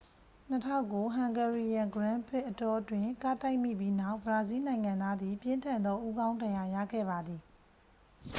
2009 hungarian grand prix အတောအတွင်း ကားတိုက်မိပြီးနောက် ဘရာဇီးနိုင်ငံသားသည် ပြင်းထန်သောဦးခေါင်းဒဏ်ရာရခဲ့ပါသည်